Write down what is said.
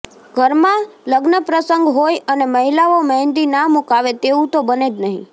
ઘરમાં લગ્નપ્રસંગ હોય અને મહિલાઓ મહેંદી ના મુકાવે તેવું તો બને જ નહીં